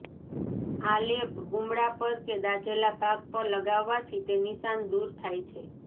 આ લેપ ગુમડા પર કે દાઝેલા ભાગ પર લગાવાથી તે નિશાન દૂર થાય છે